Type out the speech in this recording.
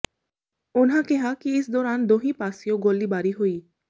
ਉਨ੍ਹਾਂ ਕਿਹਾ ਕਿ ਇਸ ਦੌਰਾਨ ਦੋਹੀਂ ਪਾਸਿਓਂ ਗੋਲੀਬਾਰੀ ਹੋਈ